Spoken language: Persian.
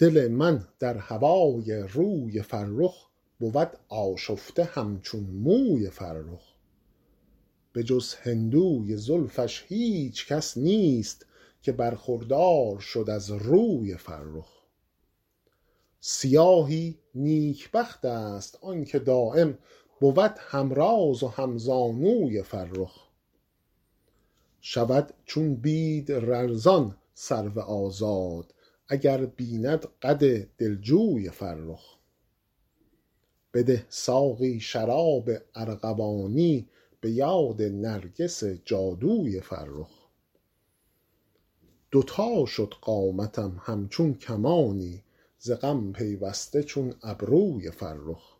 دل من در هوای روی فرخ بود آشفته همچون موی فرخ به جز هندوی زلفش هیچ کس نیست که برخوردار شد از روی فرخ سیاهی نیکبخت است آن که دایم بود هم راز و هم زانوی فرخ شود چون بید لرزان سرو آزاد اگر بیند قد دلجوی فرخ بده ساقی شراب ارغوانی به یاد نرگس جادوی فرخ دو تا شد قامتم همچون کمانی ز غم پیوسته چون ابروی فرخ